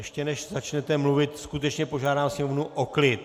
Ještě než začnete mluvit, skutečně požádám sněmovnu o klid.